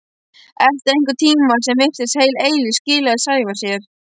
Eftir einhvern tíma sem virtist heil eilífð skilaði Sævar sér.